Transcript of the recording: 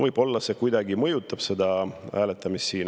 Võib-olla see kuidagi mõjutab seda hääletamist siin.